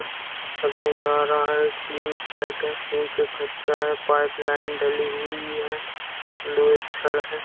अभी लग रहा है कि टिन शेड है टिन शेड कच्चा है पाइप लाइन डली हुई है लोहे का छड़ है।